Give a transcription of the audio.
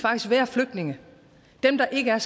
være flygtninge dem der ikke er